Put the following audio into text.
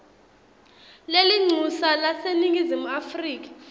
lelincusa laseningizimu afrika